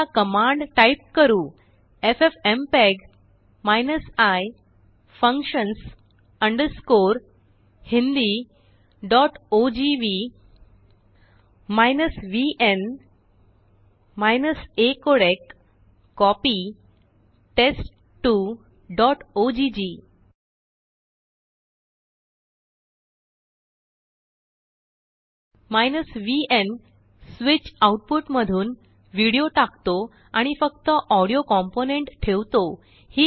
आताकमांड type करु FFmpeg i functions hindiogv minus vn acodec copy test2ओग vn switch output मधूनविडियो टाकतो आणि फक्तऑडियो कॉम्पोनेन्ट ठेवतो